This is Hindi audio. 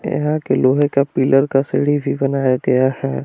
यहां के लोहे का पिलर का सीढ़ी भी बनाया गया है।